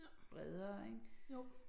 Bredere ik